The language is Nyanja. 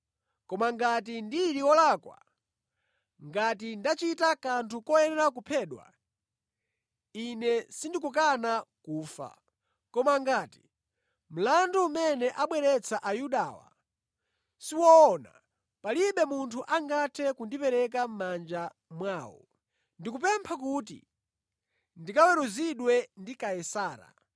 Koma ngati ndili wolakwa, ngati ndachita kanthu koyenera kuphedwa, ine sindikukana kufa. Koma ngati mlandu umene abweretsa Ayudawa siwoona, palibe munthu angathe kundipereka mʼmanja mwawo. Ndikupempha kuti ndikaweruzidwe ndi Kaisara!”